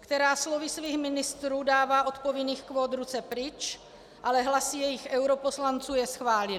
která slovy svých ministrů dává od povinných kvót ruce pryč, ale hlasy jejich europoslanců je schválily.